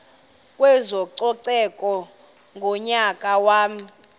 kwezococeko ngonyaka wama